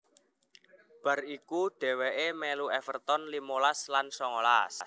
Bar iku dhèwèkè mèlu Everton limolas lan songolas